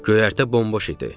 Göyərtə bomboş idi.